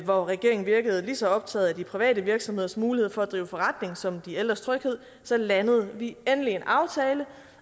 hvor regeringen virkede lige så optaget af de private virksomheders muligheder for at drive forretning som af de ældre tryghed så landede vi endelig en aftale